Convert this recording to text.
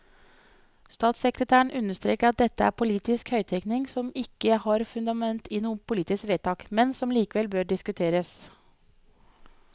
Statssekretæren understreker at dette er politisk høyttenkning som ikke har fundament i noen politiske vedtak, men som likevel bør diskuteres.